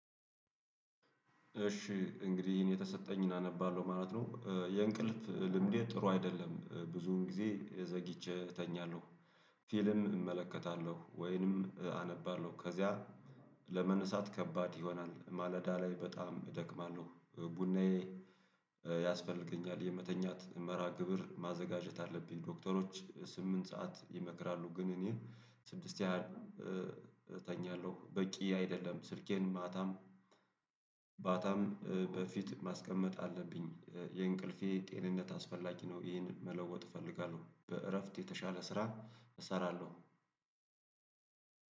እሺ እንግዲህ ይሄን የተሰጠኝን አነባለሁ ማለት ነው የእንቅልፍ ልምዴ ጥሩ አይደለም ብዙውን ጊዜ ዘግቼ እተኛለሁ። ፊልም እመለከታለሁ ወይንም አነባለሁ ከዚያ ለመነሳት ከባድ ይሆናል ማለዳ ላይ በጣም እደክማለሁ። ቡናዬ ያስፈልገኛል የመተኛት መርሃ ግብር ማዘጋጀት አለብኝ። ዶክተሮች ስምንት ሰዓት ይመክራሉ ግን እኔ ስድስት ያህል እተኛለሁ በቂ አይደለም። ስልኬን ማታም በፊት ማስቀመጥ አለብኝ። የእንቅልፌ ጤንነት አስፈላጊ ነው። ይህንን መለወጥ እፈልጋለሁ በእረፍት የተሻለ ስራ እሰራለሁ።